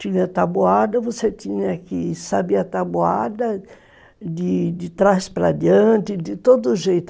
Tinha taboada, você tinha que saber a taboada de de trás para adiante, de todo jeito.